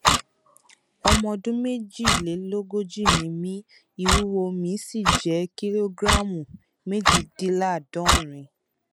ọmọ ọdún méjìlélógójì ni mí ìwúwo mi sì jẹ kìlógíráàmù méjìdínláàádọrin